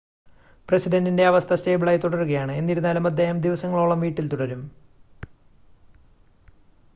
പ്രസിഡൻ്റിൻ്റെ അവസ്ഥ സ്റ്റേബിളായി തുടരുകയാണ് എന്നിരുന്നാലും അദ്ദേഹം ദിവസങ്ങളോളം വീട്ടിൽ തുടരും